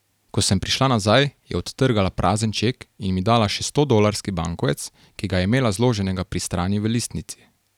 Ko sem prišla nazaj, je odtrgala prazen ček in mi dala še stodolarski bankovec, ki ga je imela zloženega pri strani v listnici.